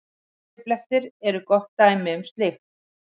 Kaffiblettir eru gott dæmi um slíkt.